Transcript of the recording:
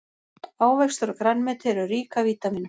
Ávextir og grænmeti eru rík af vítamínum.